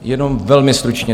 Jenom velmi stručně.